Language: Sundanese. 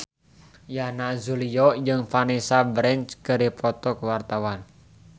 Yana Julio jeung Vanessa Branch keur dipoto ku wartawan